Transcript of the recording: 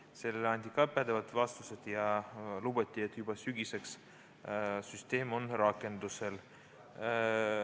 Ka sellele anti pädevad vastused ja lubati, et juba sügiseks on süsteemi rakendama hakatud.